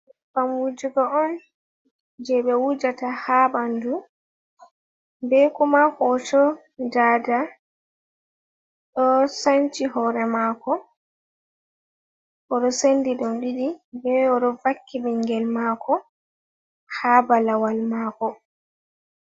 Nybbam wujugo on, je ɓe wujata haa ɓandu, be kuma hooto daada ɗo sanchi hoore maako, o ɗo sendi ɗum ɗiɗi bo o ɗo vakki ɓingel maako haa balawal maako.